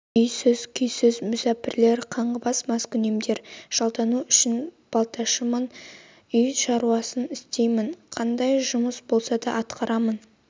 үйсіз-күйсіз мүсәпірлер қаңғыбас маскүнемдер жалдану үшін балташымын үй шаруасын істеймін қандай жұмыс болса да атқарамын